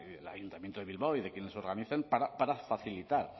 el ayuntamiento de bilbao y de quienes organizan para facilitar